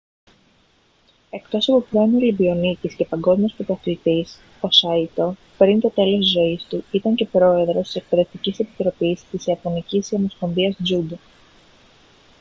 εκτός από πρώην ολυμπιονίκης και παγκόσμιος πρωταθλητής ο σάιτο πριν το τέλος της ζωής του ήταν και πρόεδρος της εκπαιδευτικής επιτροπής της ιαπωνικής ομοσπονδίας τζούντο